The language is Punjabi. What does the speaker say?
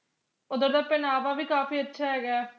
ਓਧਰ ਦਾ ਪਹਿਨਾਵਾ ਵੀ ਕਾਫੀ ਅੱਛਾ ਹੈਗਾ ਆ